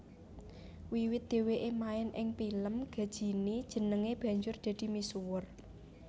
Wiwit dhèwèké main ing pilem Ghajini jenengé banjur dadi misuwur